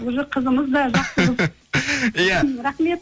уже қызымыз иә рахмет